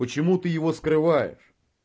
почему ты его скрываешь